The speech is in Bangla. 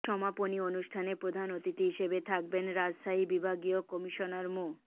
সমাপনী অনুষ্ঠানে প্রধান অতিথি হিসেবে থাকবেন রাজশাহী বিভাগীয় কমিশনার মো